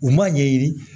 U ma ɲɛɲini